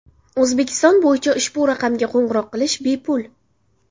O‘zbekiston bo‘yicha ushbu raqamga qo‘ng‘iroq qilish bepul.